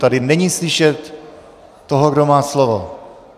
Tady není slyšet toho, kdo má slovo.